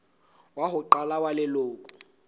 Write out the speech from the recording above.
wa ho qala wa leloko